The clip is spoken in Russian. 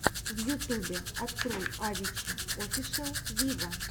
на ютубе открой авичи офишел виво